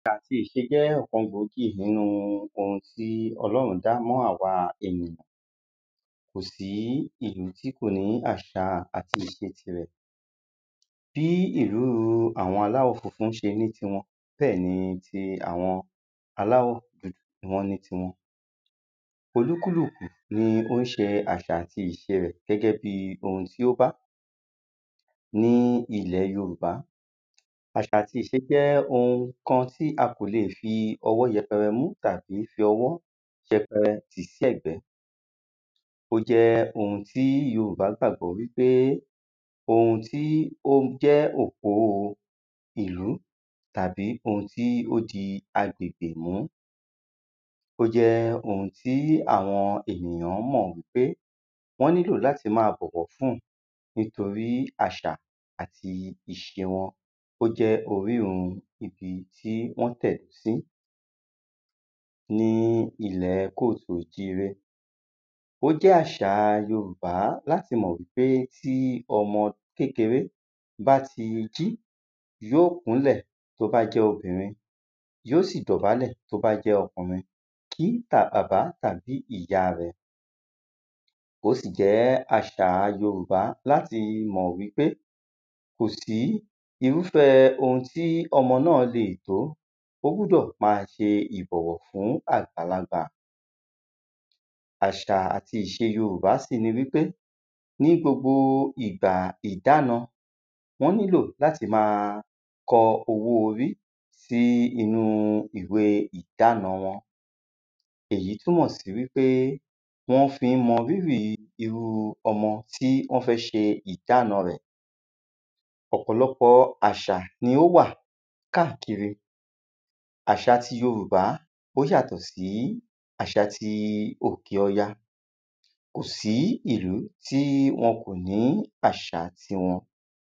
àti ìṣe jẹ́ ọ̀kan gbòógì nínú ohun tí ọlọ́run dá mọ́ àwa ènìyàn kò sí ìlú tí kò ní àṣà àti ìṣe tirẹ̀ bí ìlú àwọn aláwọ̀ funfun ṣe ní tiwọn bẹ́ẹ̀ ni ti àwọn aláwọ̀ dúdú ṣe ní tiwọn olúkúlùkù ni ó ń ṣe àṣà àti ìṣe tirẹ̀ gẹ́gẹ́ bíi ohun tí ó bá ní ilẹ̀ yorùbá àṣà àti ìṣe jẹ́ ohun kan tí a kò le fi ọwọ́ yẹpẹrẹ mú tàbí fi ọwọ́ yẹpẹrẹ tì sẹ́ẹ̀gbẹ́ ó jẹ́ ohun tí yorùbá gbàgbọ́ wípé ohun tí ó jẹ́ òpó ìlú tàbí ohun tí ó di agbègbè mú ó jẹ́ ohun tí àwọn ènìyàn mọ̀ wípé wọ́n nílò láti máa bọ̀wọ̀ fún nítorí àṣà àti ìṣe wọn ó jẹ́ orísun ibi tí wọ́n tẹ̀dó sí ní ilẹ̀ kóòsùnojíre ó jẹ́ àṣà yorùbá láti mọ̀ wípé tí ọmọ kékeré bá ti jí, yóò kúnlẹ̀ tó bá jẹ́ obìnrin yóò sì dọ̀bálẹ̀ tó bá jẹ́ okùnrin kí bàbá tàbí ìyá rẹ̀ ó sì jẹ́ àṣà yorùbá láti mọ̀ wípé kò sí irúfẹ́ ohun tí ọmọ náà lè tó, ó gbúdọ̀ máa ṣe ìbọ̀wọ̀ fún àgbàlagbà àṣà àti ìṣe yorùbá sì ni wípé ní gbogbo ìgbà ìdána wọ́n nílò láti lè máa kọ owó orí sí inú ìwe ìdána wọn èyí túnmọ̀ sí wípé wọ́n fi ń mọ rírì irú ọmọ tí wọ́n fẹ́ ṣe ìdána rẹ̀ ọ̀pọ̀lọpọ̀ àṣà ni ó wà káàkiri àṣà ti yorùbá ó yàtọ̀ sí àṣà ti òkè ọya kò sì sí ìlú tí wọn kò ní àṣà titi wọn.